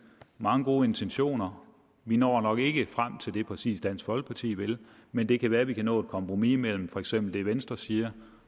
og mange gode intentioner vi når nok ikke frem til præcis det dansk folkeparti vil men det kan være at vi kan nå et kompromis mellem for eksempel det venstre siger